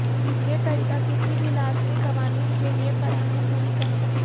یہ طریقہ کسی بھی لازمی قوانین کے لئے فراہم نہیں کرتا